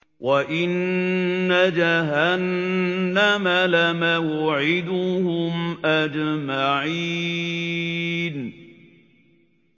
وَإِنَّ جَهَنَّمَ لَمَوْعِدُهُمْ أَجْمَعِينَ